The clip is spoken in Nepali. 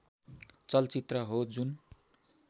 चलचित्र हो जुन